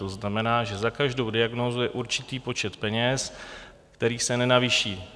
To znamená, že za každou diagnózu je určitý počet peněz, který se nenavýší.